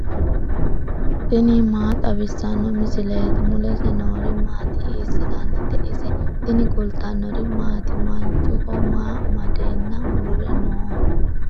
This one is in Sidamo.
tini maa xawissanno misileeti ? mulese noori maati ? hiissinannite ise ? tini kultannori maati? Manchuho maa amadeenna uure nooho?